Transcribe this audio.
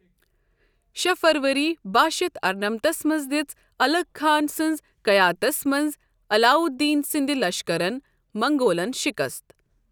شےٚ فروری بہہ شتھ ارنمتس منٛز دِژ الغ خان سٕنٛز قیادتس منٛز علاؤالدینٕ سندِ لشکَرن منگولن شِکست ۔